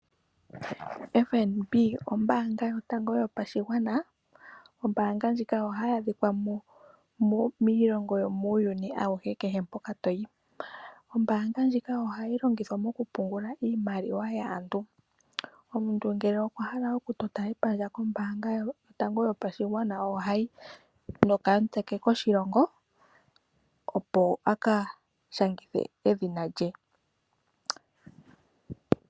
FNB ombaanga yotango yopashigwana . Ombaanga ndjika oha yi adhika miilongo yomuuyuni auhe kehe mpoka toyi. Ombaanga ndjika oha yi longithwa mokupungula iimaliwa yaantu. Omuntu ngele okutota epandja kombaanga yotango yopashigwana, ohayi nokamutse ke koshilongo opo aka shangithe edhina lye.